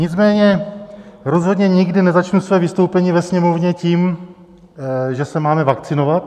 Nicméně rozhodně nikdy nezačnu své vystoupení ve Sněmovně tím, že se máme vakcinovat.